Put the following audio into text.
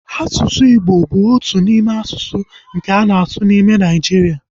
Asụsụ Igbo bụ otu n'ime asụsụ nke a na-asụ n'ime Nigeria